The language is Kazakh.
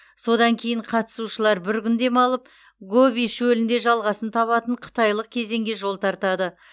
содан кейін қатысушылар бір күн демалып гоби шөлінде жалғасын табатын қытайлық кезеңге жол тартады